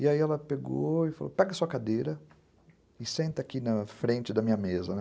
E aí ela pegou e falou, pega sua cadeira e senta aqui na frente da minha mesa, né?